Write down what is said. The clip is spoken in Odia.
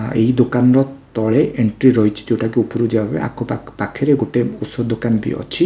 ଆଁ ଏଇ ଦୋକାନର ତଳେ ଏଣ୍ଟ୍ରି ରହିଛି ଯୋଉଟାକି ଉପରକୁ ଯିବା ପାଇଁ ଆଖପାଖ ପାଖରେ ଗୋଟେ ଔଷଧ ଦୋକାନ ବି ଅଛି।